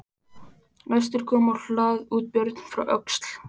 Næstur kom á hlað út Björn frá Öxl.